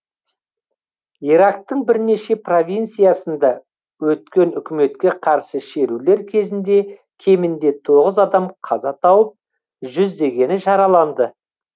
ирактың бірнеше провинциясында өткен үкіметке қарсы шерулер кезінде кемінде тоғыз адам қаза тауып жүздегені жараланды